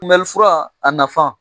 kunbɛlifura a nafa